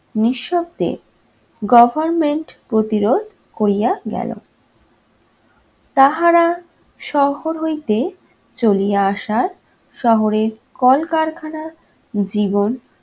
নিঃশব্দে goverment প্রতিরোধ করিয়া গেল। তাহারা শহর হইতে চলিয়া আসার শহরের কলকারখানার জীবন